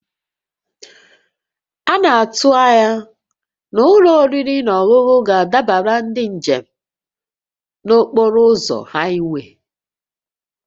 A na-atụ anya na ụlọ oriri na ọṅụṅụ ga-adabara ndị njem n'okporo ụzọ haịwee